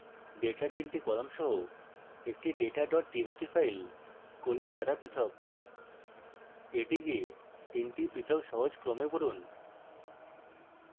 ডেটার তিনটি কলাম সহ একটি data txt file colon দ্বারা পৃথক এটি 3 টি পৃথক সহজ ক্রমে পড়ুন